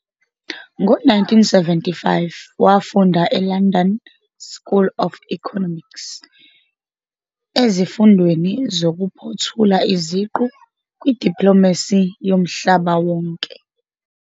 Ngo-1975 wafunda eLondon School of Economics ezifundweni zokuphothula iziqu kwiDiplomacy Yomhlaba Wonke.